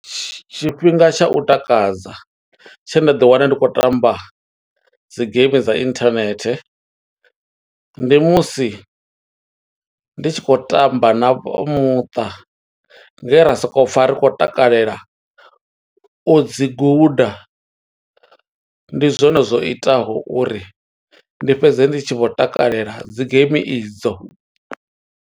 Tshifhinga tsha u takadza, tshe nda ḓi wana ndi tshi khou tamba dzi game dza internet, ndi musi ndi tshi khou tamba na vha muṱa, nge ra soko pfa ri khou takalela u dzi guda. Ndi zwone zwo itaho uri ndi fhedze, ndi tshi vho takalela dzi game i dzo.